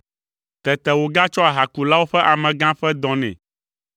Tete wògatsɔ ahakulawo ƒe amegã ƒe dɔ nɛ;